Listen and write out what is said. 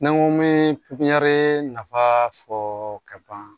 Ni n ko mi ɲare nafa fɔ ka ban